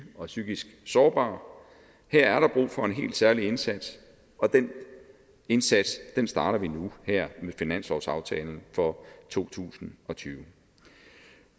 og psykisk sårbare her er der brug for en helt særlig indsats og den indsats starter vi nu her med finanslovsaftalen for to tusind og tyve